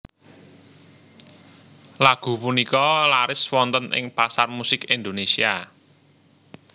Lagu punika laris wonten ing pasar musik Indonésia